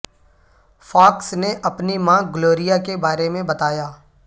Fox نے اپنی ماں گلوریا کے بارے میں بتایا